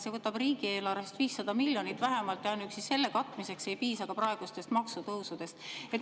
See võtab riigieelarvest 500 miljonit vähemalt ja ainuüksi selle katmiseks ei piisa ka praegustest maksutõusudest.